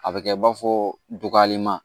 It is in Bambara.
A bɛ kɛ i b'a fɔ dɔgɔlenma